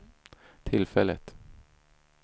tillfället